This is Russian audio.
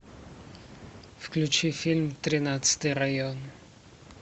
включи фильм тринадцатый район